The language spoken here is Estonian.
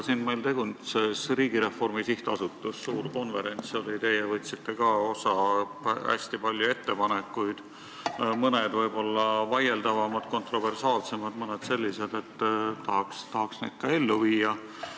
Siin meil tegutses Riigireformi SA, suur konverents oli, teie võtsite sealt ka osa, hästi palju oli ettepanekuid, mõned võib-olla vaieldavamad, kontroversaalsemad, mõned sellised, et tahaks neid ka ellu viia.